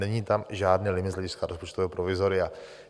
Není tam žádný limit z hlediska rozpočtového provizoria.